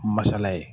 Masala ye